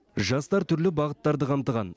жастар түрлі бағыттарды қамтыған